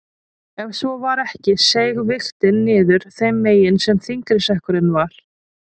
Ef svo var ekki seig vigtin niður þeim megin sem þyngri sekkurinn var.